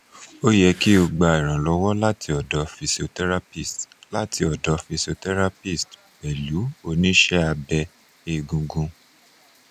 o ye ki o gba iranlowo lati odo physiotherapist lati odo physiotherapist pelu onise abe egungun